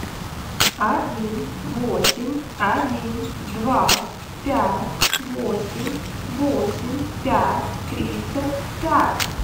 один восемь один два пять восемь восемь пять тридцать пять